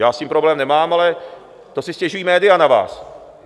Já s tím problém nemám, ale to si stěžují média na vás.